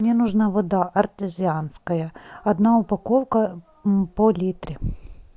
мне нужна вода артезианская одна упаковка по литру